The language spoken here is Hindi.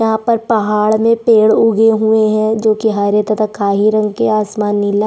वहाँ पर पहाड़ में पेड़ उगे हुए है जोकि हरे तथा काले रंग के आसमान नीला--